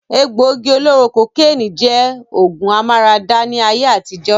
Egbògi olóró kokénì jẹ́ ògùn amára dá ní ayé àtijọ́.